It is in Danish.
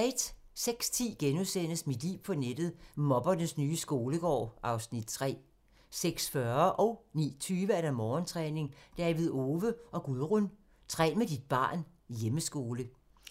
06:10: Mit liv på nettet: Mobbernes nye skolegård (Afs. 3)* 06:40: Morgentræning: David Owe og Gudrun - træn med dit barn, hjemmeskole